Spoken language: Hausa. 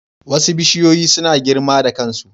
Wasu bishiyoyi suna girma da kansu.